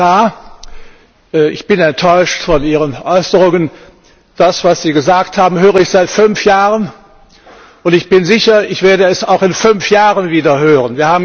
Herr Kommissar, ich bin enttäuscht von Ihren Äußerungen. Das, was Sie gesagt haben, höre ich seit fünf Jahren, und ich bin sicher, ich werde es auch in fünf Jahren wieder hören.